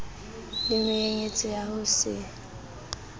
le menyenyetsi ya ho se